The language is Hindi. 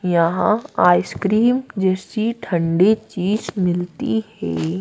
यहां आईसक्रीम जैसी ठंडी चीज मिलती है।